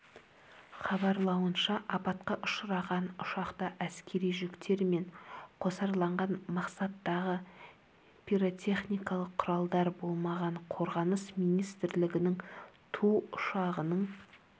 хабарлауынша апатқа ұшыраған ұшақта әскери жүктер мен қосарланған мақсаттағы пиротехникалық құралдар болмаған қорғаныс министрлігінің ту ұшағының